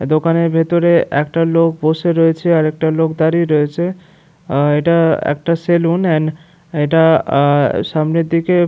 দোকানের ভিতরে একটা লোক বসে রয়েছে আর একটা দাঁড়িয়ে রয়েছে । আর এইটা একটা সেলুন অ্যান এইটা আ সামনের দিকে--